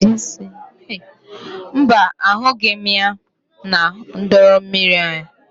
Mba, ahụghị m ya na drọn mmiri anyị.